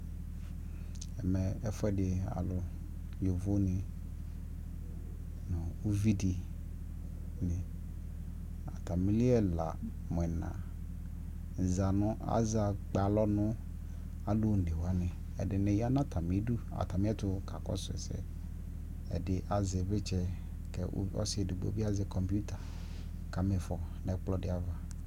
ɛmɛ ɛfʋɛdi alʋ, yɔvɔ ni nʋ ʋvi di, atamili ɛla, mʋ ɛna zanʋ, aza kpɛ alɔnʋ alʋ ɔnɛ wani, ɛdini yanʋ atami idʋ ,atami ɛtʋ ka kɔsʋ ɛsɛ, ɛdini azɛ ivlitsɛ kʋ ɔsiidi bi azɛ kɔmpʋta ka mifɔ nʋɛkplɔ di aɣa